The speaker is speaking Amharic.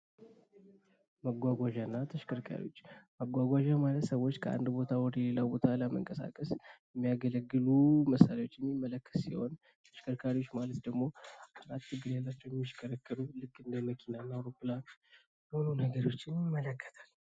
መጓጓዣ እና ተሽከርካሪዎች ፦ ሰዎች ከአንድ ቦታ ወደ ሌላ ቦታ ለመንቀሳቀስ የሚያገለግሉ መሳሪያዎችን የሚመለከት ሲሆን ተሽከርካሪዎች ማለት ደግሞ ልክ እንደ መኪና እንደ አውሮፕላን ያሉትን ይመለከታል።